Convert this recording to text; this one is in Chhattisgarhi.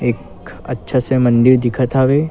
एक अच्छा से मंदिर दिखत हवे।